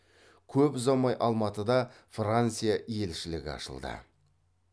көп ұзамай алматыда франция елшілігі ашылды